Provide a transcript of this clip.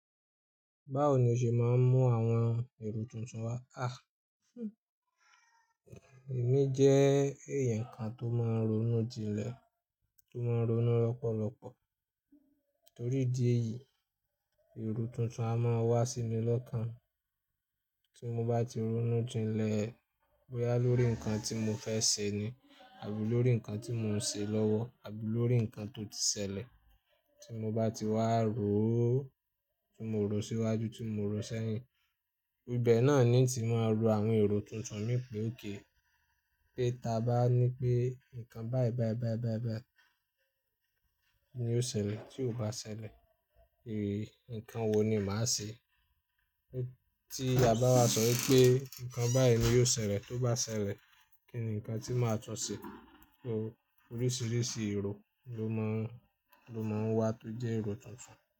Báwo ni o ṣe máa ń mú àwọn èrò tuntun wá? Àh! Ẹ̀mí jẹ́ èèyàn kan tó máa ń ronú jinlẹ̀, tó máa ń ronú lọ́pọ̀lọpọ̀. Torí ìdí èyí, èrò tuntun a máa wá síi lọ́kàn. Tí mo bá ti ronú jinlẹ̀ bóyá lórí nǹkan tí mo fẹ́ ṣe ni, àbí lórí nǹkan tí mò ń ṣe lọ́wọ́, àbí lórí nǹkan tó ti ṣẹlẹ̀. Tí mo bá ti wà ró ó, tí mo rò ó síwájú, tí mo rò ó sẹ́yìn. Ibẹ̀ náà ni tí màá ro àwọn èrò tuntun mí pé ókay Pé ta bá ní pé nǹkan báyìí báyìí báyìí báyìí ni yóò ṣẹlẹ̀, tí kò bá ṣẹlẹ̀, ì-- nǹkan wo ni màá ṣe? Tí a bà wa sọ wípé nǹkan báyìí ni yóò ṣẹlẹ̀, t'obá ṣẹlẹ̀, kíni nǹkan tí màá tún ṣe? Oríṣiríṣi èrò ló máà ń, ló máa ń wá tó jẹ́ èrò tuntun.